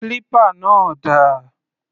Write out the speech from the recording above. Clipper náà dà?